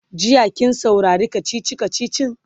jiya kin saurari kachichi kachichin?